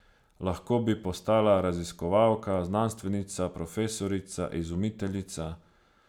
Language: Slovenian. Lahko bi postala raziskovalka, znanstvenica, profesorica, izumiteljica.